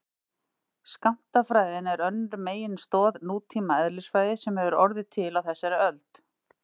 skammtafræðin er önnur meginstoð nútíma eðlisfræði sem hefur orðið til á þessari öld